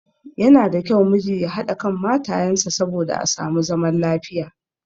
Yana da kyau miji ya haɗa kan matayen sa saboda a samu zaman lafiya.